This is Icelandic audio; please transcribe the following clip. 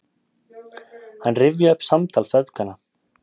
Hann rifjaði upp samtal feðganna